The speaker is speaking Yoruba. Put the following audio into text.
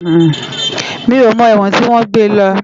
Mi ó mò èwòn tiwòn gbé lò